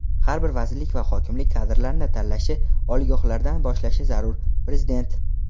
Har bir vazirlik va hokimlik kadrlar tanlashni oliygohlardan boshlashi zarur – Prezident.